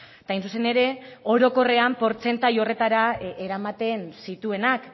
eta hain zuzen ere orokorrean portzentai horretara eramaten zituenak